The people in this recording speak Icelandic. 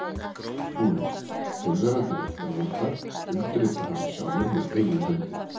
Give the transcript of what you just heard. SKÚLI: Fyrrverandi réttarvottar undirrita hana sjálfir með eigin hendi.